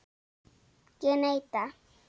Ég neita.